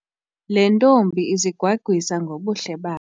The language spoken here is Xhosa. Le ntombi izigwagwisa ngobuhle bayo.